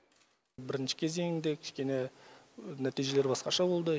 бірінші кезеңде кішкене нәтижелер басқаша болды